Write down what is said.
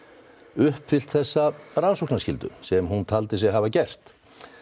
uppfyllt þessa rannsóknarskyldu sem hún taldi sig hafa gert